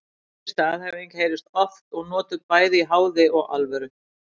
Þessi staðhæfing heyrist oft og notuð bæði í háði og alvöru.